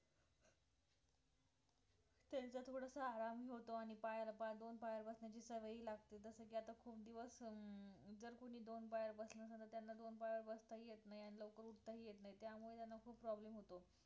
त्यांचा थोडासा आराम होतो आणि पायाला पाय दोन पायावर बसण्याची सवय लागते जसं की आता खूप दिवस अं जर कोणी दोन पायावर बसलं नाही तर त्यांना दोन पायावर बसता येत नाही आणि लवकर उठता हि येत नाही त्यामुळे त्यांना खूप problem होतो